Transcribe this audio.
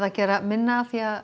gera minna af því að